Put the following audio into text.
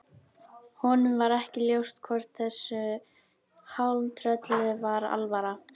Honum var ekki ljóst hvort þessu hálftrölli var alvara.